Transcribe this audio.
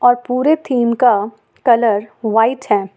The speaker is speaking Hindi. पूरे थीम का कलर व्हाइट है।